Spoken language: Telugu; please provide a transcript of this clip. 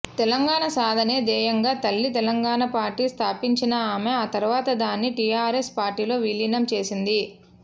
తెలంగాణ సాధనే ధ్యేయంగా తల్లి తెలంగాణ పార్టీ స్థాపించిన ఆమె ఆ తర్వాత దాన్ని టీఆర్ఎస్ పార్టీలో విలీనం చేసింది